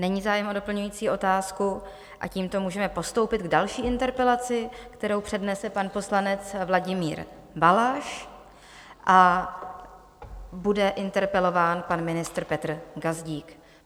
Není zájem o doplňující otázku a tímto můžeme postoupit k další interpelaci, kterou přednese pan poslanec Vladimír Balaš, a bude interpelován pan ministr Petr Gazdík.